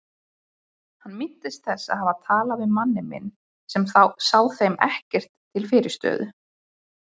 Hann minnist þess að hafa talað við manninn minn sem sá þeim ekkert til fyrirstöðu.